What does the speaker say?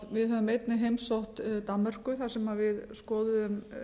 við höfum einnig heimsótt danmörku þar sem við skoðuðum